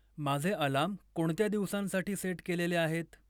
माझे अलार्म कोणत्या दिवसांसाठी सेट केलेले आहेत?